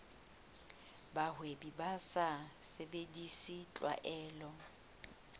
bahwebi ba sa sebedise tlwaelo